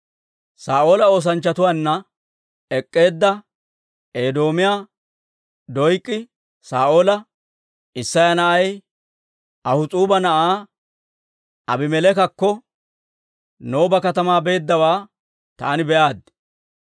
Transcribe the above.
Saa'oola oosanchchatuwaanna ek'k'eedda Edoomiyaa Doyk'i Saa'oola, «Isseya na'ay Ahis'uuba na'aa Abimeleekakko Nooba katamaa beeddawaa taani be'aaddi.